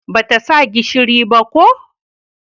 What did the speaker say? Ba ta sa gishiri ba ko?